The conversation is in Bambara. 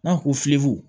N'a ko fiyewu